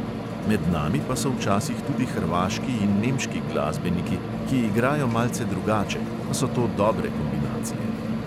Med nami pa so včasih tudi hrvaški in nemški glasbeniki, ki igrajo malce drugače, a so to dobre kombinacije.